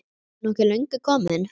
Ertu nokkuð löngu kominn?